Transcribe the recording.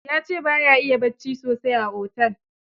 Ya ce ba ya iya bacci sosai a otel.